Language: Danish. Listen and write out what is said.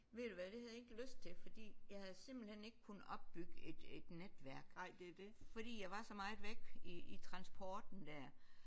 Ved du hvad det havde jeg ikke lyst til fordi jeg havde simpelthen ikke kunne opbygge et et netværk fordi jeg var så meget væk i i transporten der